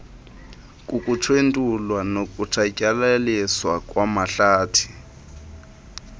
kukutshentulwa nokutshatyalaliswa kwamahlathi